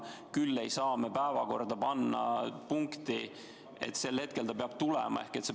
Küll ei saa me päevakorda panna punkti, et mingil konkreetsel hetkel ta peab siia tulema.